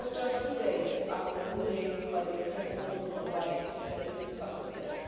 This was just two days after the ruling by the European Court of Human Rights which we are discussing today.